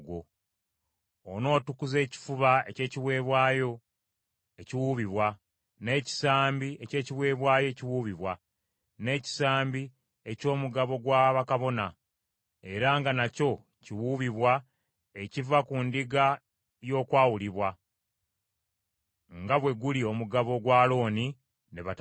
Onootukuza ekifuba eky’ekiweebwayo ekiwuubibwa, n’ekisambi eky’ekiweebwayo ekiwuubibwa, n’ekisambi eky’omugabo gwa bakabona era nga nakyo kiwuubibwa ekiva ku ndiga y’okwawulibwa, nga bwe guli omugabo gwa Alooni ne batabani be.